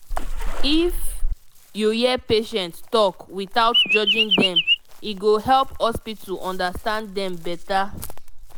if you hear patient talk without judging dem e go help hospital understand dem better.